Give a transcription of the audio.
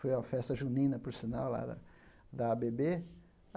Foi uma festa junina, por sinal, lá da da á á bê bê.